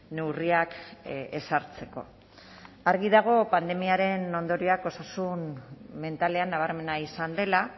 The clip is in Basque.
neurriak ezartzeko argi dago pandemiaren ondorioak osasun mentalean nabarmena izan dela